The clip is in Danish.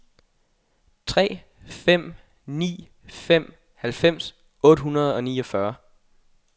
tre fem ni fem halvfems otte hundrede og niogfyrre